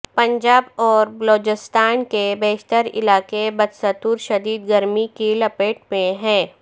پنجاب اور بلوچستان کے بیشتر علاقے بدستور شدید گرمی کی لپیٹ میں ہیں